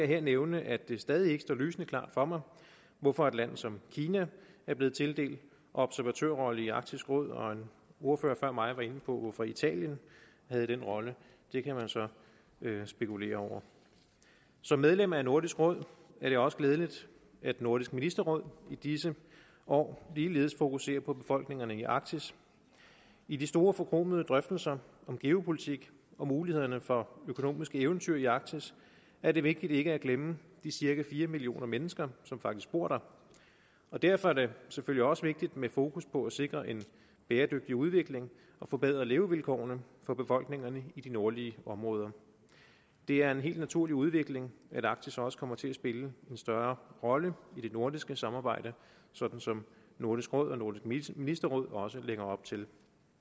her nævne at det stadig ikke står lysende klart for mig hvorfor et land som kina er blevet tildelt observatørrolle i arktisk råd og en ordfører før mig var inde på hvorfor italien havde den rolle det kan man så spekulere over som medlem af nordisk råd er det også glædeligt at nordisk ministerråd i disse år ligeledes fokuserer på befolkningerne i arktis i de store forkromede drøftelser om geopolitik og mulighederne for økonomiske eventyr i arktis er det vigtigt ikke at glemme de cirka fire millioner mennesker som faktisk bor der og derfor er det selvfølgelig også vigtigt med fokus på at sikre en bæredygtig udvikling og forbedre levevilkårene for befolkningerne i de nordlige områder det er en helt naturlig udvikling at arktis også kommer til at spille en større rolle i det nordiske samarbejde sådan som nordisk råd og nordisk ministerråd også lægger op til